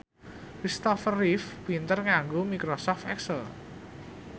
Christopher Reeve pinter nganggo microsoft excel